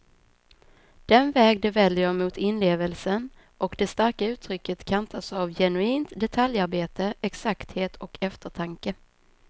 Den väg de väljer mot inlevelsen och det starka uttrycket kantas av genuint detaljarbete, exakthet och eftertanke.